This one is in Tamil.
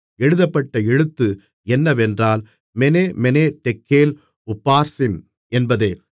எழுதப்பட்ட எழுத்து என்னவென்றால் மெனே மெனே தெக்கேல் உப்பார்சின் என்பதே